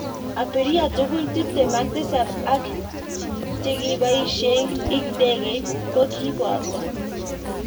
Abirria tugul tipten ak tisap ak chikibaisek ik ndegeit kokibato.